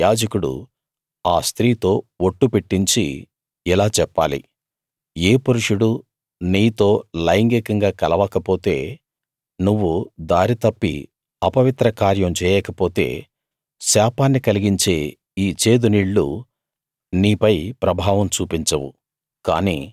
అప్పుడు యాజకుడు ఆ స్త్రీతో ఒట్టు పెట్టించి ఇలా చెప్పాలి ఏ పురుషుడూ నీతో లైంగికంగా కలవక పొతే నువ్వు దారి తప్పి అపవిత్ర కార్యం చేయకపోతే శాపాన్ని కలిగించే ఈ చేదు నీళ్ళు నీపై ప్రభావం చూపించవు